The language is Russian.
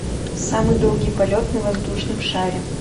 самый долгий полет на воздушном шаре